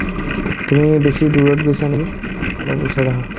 তুমি বেছি দূৰত গৈছা নেকি ? অলপ ওচৰত আহা